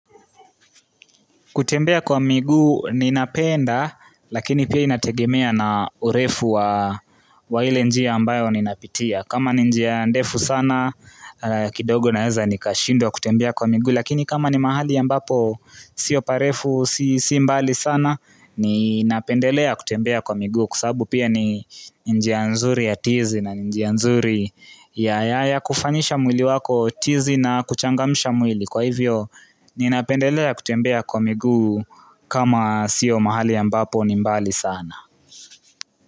Kutembea kwa migu, ninapenda, lakini pia inategemea na urefu wa hile njiya ambayo ninapitia. Kama ninjia ndefu sana, kidogo naeza ni kashindo kutembea kwa migu, lakini kama ni mahali ya mbapo, si oparefu, si mbali sana, ninapendelea kutembea kwa migu. Kusabu pia ninjia nzuri ya tizi na ninjia nzuri ya kufanyisha mwili wako, tizi na kuchangamisha mwili. Kwa hivyo, ninapendelea kutembea kwa miguu kama sio mahali ya mbapo ni mbali sana.